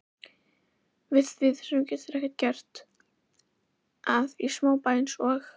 Við því verður ekki gert, að í smábæ eins og